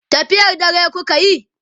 tafiyar dare kukayi?